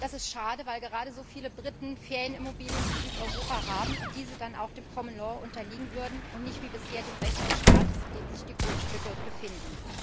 Das ist schade, weil gerade so viele Briten Ferienimmobilien in Südeuropa haben und diese dann auch dem Common Law unterliegen würden und nicht wie bisher dem Recht des Staates, in dem sich die Grundstücke befinden.